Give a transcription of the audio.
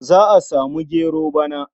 Za a samu gero bana.